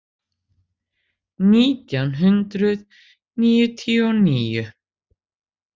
Nítján hundruð níutíu og níu